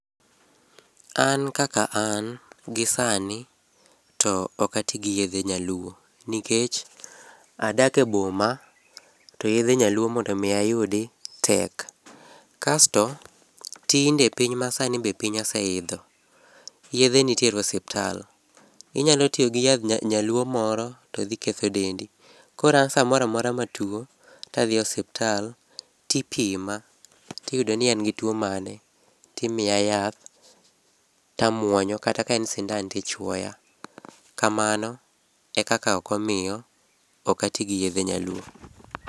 An kaka an gisani to ok ati giyedhe nyaluo. Nikech adak e boma to yedhe nyaluo mondo mi ayudi tek. Kasto tinde piny masani be piny ose idho. Yedhe nitiere e osiptal. Inyalo tiyo gi yadh nyaluo moro to dhi ketho dendi. Koro an samoro amora matuo to adhi osiptal, tipima tiyudo ni an gi tuo mane, timiya yath tamuonyo kata ka en sindan tichuoya. Kamano e kaka omiyo ok ati giyedhe nyaluo.